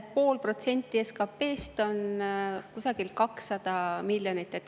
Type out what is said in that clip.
Pool protsenti SKP-st on kusagil 200 miljonit.